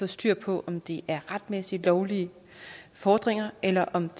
styr på om det er retmæssige lovlige fordringer eller om